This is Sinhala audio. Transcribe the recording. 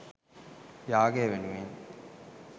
යාගය වෙනුවෙන්